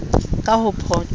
ka ho phoqa oo be